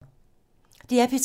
DR P3